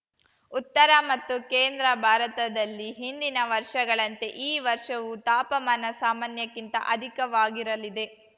ಉತ್ತರ ಮತ್ತು ಕೇಂದ್ರ ಭಾರತದಲ್ಲಿ ಹಿಂದಿನ ವರ್ಷಗಳಂತೆ ಈ ವರ್ಷವೂ ತಾಪಮಾನ ಸಾಮಾನ್ಯಕ್ಕಿಂತ ಅಧಿಕವಾಗಿರಲಿದೆ